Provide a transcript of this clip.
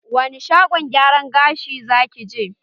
Wani shagon gyaran gashi za ki je?